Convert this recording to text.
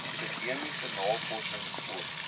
akademiese navorsings sport